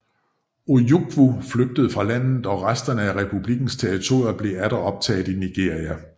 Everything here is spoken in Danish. Ojukwu flygtede fra landet og resterne af republikkens territorier blev atter optaget i Nigeria